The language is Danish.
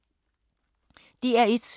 DR1